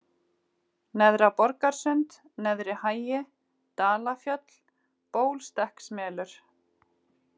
Neðra-Borgarsund, Neðri-Hagi, Dalafjöll, Bólstekksmelur